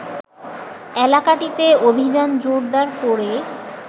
এলাকাটিতে অভিযান জোরদার করে